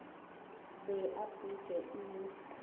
be a phuntšwe e le